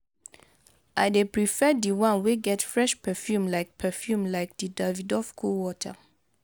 i dey prefer di one wey get fresh perfume like perfume like di davidoff cool water.